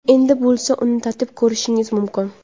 Endi bo‘lsa, uni tatib ko‘rishingiz mumkin!.